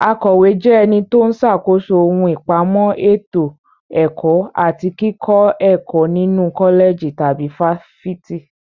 Akọ̀wé jẹ́ ẹni tó ń ṣàkóso ohun ìpamọ́ ètò ẹ̀kọ́ àti kíkọ́ ẹ̀kọ́ nínu kọ́lẹ̀jì tàbí fáfitì.